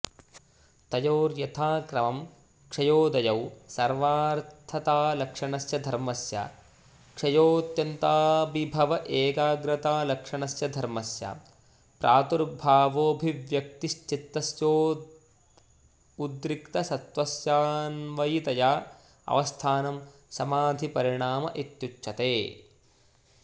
तयोर्यथाक्रमं क्षयोदयौ सर्वार्थतालक्षणस्य धर्मस्य क्षयोऽत्यन्ताभिभव एकाग्रतालक्षणस्य धर्मस्य प्रादुर्भावोऽभिव्यक्तिश्चित्तस्योद्रिक्तसत्त्वस्यान्वयितयाऽवस्थानं समाधिपरिणाम इत्युच्यते